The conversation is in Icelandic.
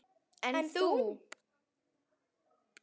En þú.